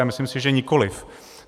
A myslím si, že nikoliv.